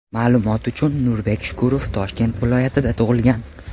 Ma’lumot uchun, Nurbek Shukurov Toshkent viloyatida tug‘ilgan.